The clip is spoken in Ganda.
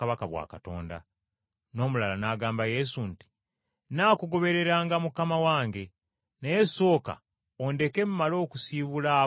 N’omulala n’agamba Yesu nti, “Nnaakugobereranga Mukama wange. Naye sooka ondeke mmale okusiibula ab’omu maka gange.”